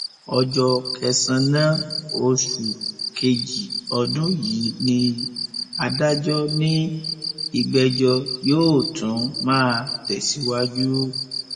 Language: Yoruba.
ọjọ kẹsànán oṣù kejì ọdún yìí ni adájọ ní ìgbẹjọ yóò tún máa tẹsíwájú